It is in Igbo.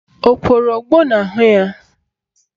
O kworo ogbo n'ahụ ya?